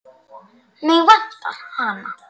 Mig vantar hana.